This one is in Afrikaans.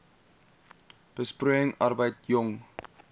besproeiing arbeid jong